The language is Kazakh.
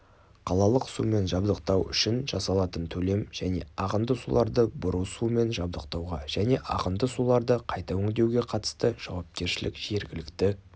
қалалық сумен жабдықтау үшін жасалатын төлем және ағынды суларды бұру сумен жабдықтауға және ағынды суларды қайта өңдеуге қатысты жауапкершілік жергілікті